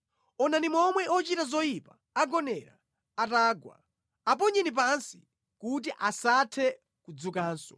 Onani momwe ochita zoyipa agonera atagwa, aponyeni pansi, kuti asathe kudzukanso!